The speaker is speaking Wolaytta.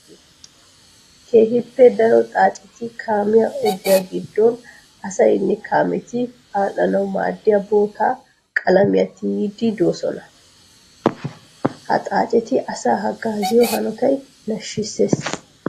Keehippe daro xaacetti kaamiya ogiyaa gidon asaynne kaametti adhdhanawu maadiya bootta qalamiya tiyidde de'osonna. Ha xaacetti asaa hagaziyo hanotay nashisees.